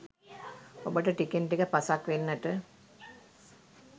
ඔබට ටිකෙන් ටික පසක් වෙන්නට